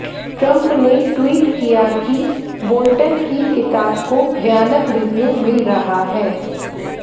Trump ने tweet किया कि बोल्टन की किताब को भयानक रिव्यू मिल रहा है